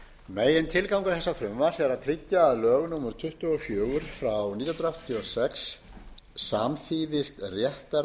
megintilgangur þessa frumvarps er að tryggja að lög númer tuttugu og fjögur nítján hundruð áttatíu og sex samþýðist réttarvernd